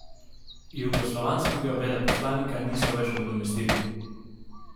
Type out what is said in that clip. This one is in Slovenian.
Jugoslovanskega veleposlanika niso več nadomestili.